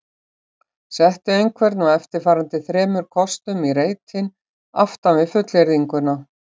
Settu einhvern af eftirfarandi þremur kostum í reitinn aftan við fullyrðinguna